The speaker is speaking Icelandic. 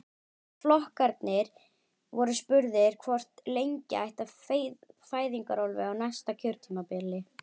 Flokkarnir voru spurðir hvort lengja ætti fæðingarorlofið á næsta kjörtímabili?